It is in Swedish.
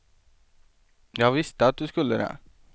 Jag visste att du skulle det.